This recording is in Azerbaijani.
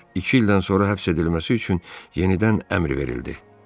İki ildən sonra həbs edilməsi üçün yenidən əmr verildi.